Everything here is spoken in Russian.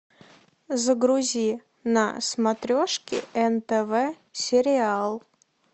загрузи на смотрешке нтв сериал